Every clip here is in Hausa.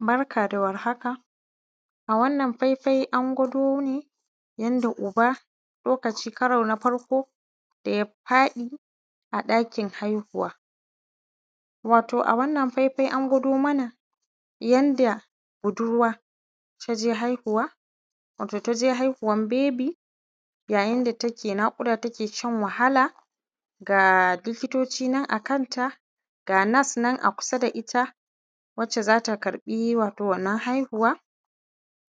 Barka da warhaka a wannan faifai an gwado ne yanda uba lokaci karo na farko da ya faɗi a ɗakin haihuwa, wato a wannan faifai an gwado mana yanda budurwa ta je haihuwa wato ta je haihuwan bebi yayin da take naƙuda take shan wahala ga likitoci nan a kanta ga nas-nas nan a kusa da kanta ita waccan za ta karɓi wato wannan haihuwa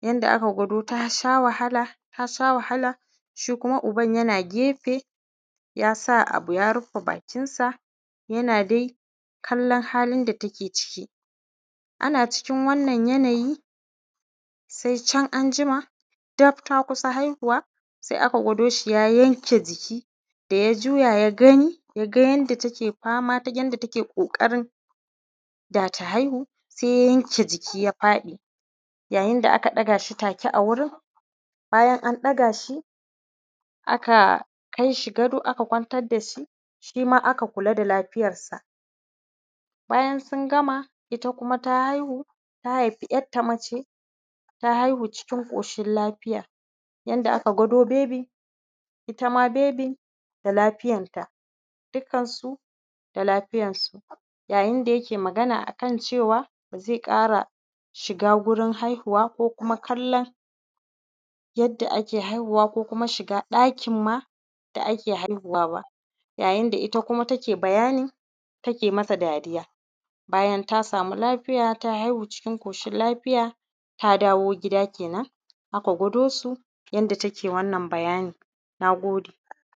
yanda aka gwado ta sha wahala. Ta sha wahala shi kuma uban yana gefe ya sa abu ya rufe bakin sa yana dai kallon halin da take ciki, ana cikin wannan yanayi sai can anjima gaf ta kusa haihuwa se aka gwado shi ya yanke jiki da ya juya ya gani ya ga yanda take fama take yanda take ƙoƙarin da ta haihu. Se ya yanke jiki ya faɗi yayin da aka ɗaga shi take a wurin bayan an ɗaga shi aka kai shi gado aka kwantar da shi, shi ma aka kula da lafiyar sa. Bayan sun gama ita kuma ta haihu, ta haifi ‘yanta mace ta haihu cikin ƙoshin lafiya yanda aka gwado bebi ita ma bebi da lafiyanta dukkan su da lafiyan su yayin da yake magana kan cewa ba ze ƙara shiga wurin haihuwa ko kallon yadda ake haihuwa ko kuma shiga ɗakin ma da ake haihuwa ba, yayin da ita kuma take bayanin take mata dariya bayan ta samu lafiya ta haihu cikin ƙoshin lafiya ta dawo gida kenan aka gwado su yanda take wannan bayanin. Na gode.